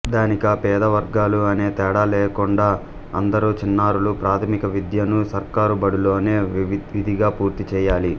ధనిక పేద వర్గాలు అనే తేడాలేకుండా అందరు చిన్నారులూ ప్రాథమికవిద్యను సర్కారు బడుల్లోనే విధిగా పూర్తి చేయాలి